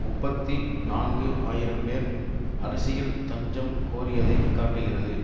முப்பத்தி நான்கு ஆயிரம் பேர் அரசியல் தஞ்சம் கோரியதைக் காட்டுகிறது